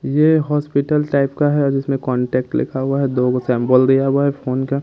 ये hospital type का है जिसमें कांटेक्ट लिखा हुआ है दो गो सैंबल दिया हुआ है फोन का।